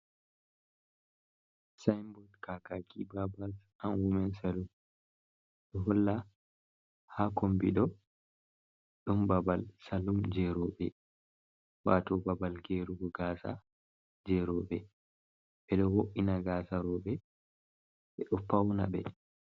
Sayinbod kakaki babal an wumen salum, ɗo holla haa kombi ɗo, ɗon babal salum jey rowɓe. Waato babal geerugo gaasa jey rowɓe. Ɓe ɗo wo’ina gaasa rowɓe, ɓe ɗo pawnaɓe.